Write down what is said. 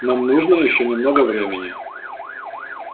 нам нужно ещё немного времени